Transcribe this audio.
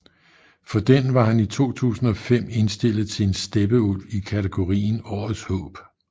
For den var han i 2005 indstillet til en Steppeulv i katagorien Årets Håb